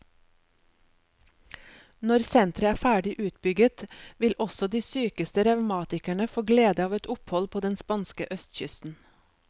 Når senteret er ferdig utbygget, vil også de sykeste revmatikerne få glede av et opphold på den spanske østkysten.